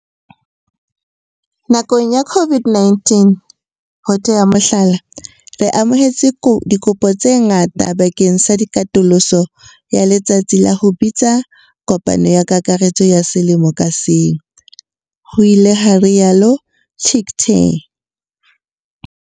"Nakong ya COVID-19, ho tea mohlala, re amohetse dikopo tse ngata bakeng sa katoloso ya letsatsi la ho bitsa kopano ya kakaretso ya selemo ka seng," ho ile ha rialo Chicktay.